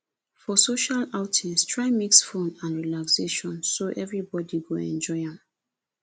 for social outings try mix fun and relaxation so everybody go enjoy am